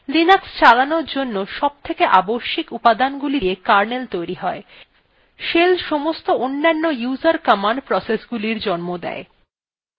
linux চালানোর জন্য সবথেকে আবশ্যিক উপাদানগুলি দিয়ে কার্নেল তৈরী হয় shell সমস্ত অন্যান্য user command processesগুলি জন্ম দেয়